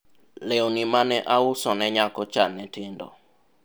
lewni mane auso ne nyakocha ne tindo